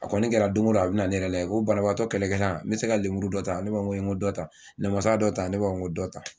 A kɔni kɛra dongo don a bɛ na ne yɛrɛ lajɛ ko banbagatɔ kɛlɛkɛla me se ka lenmuru dɔ ta , ne b'a fɔ n ko dɔ ta, namasa dɔ ta ne b'a fɔ n ko dɔ ta.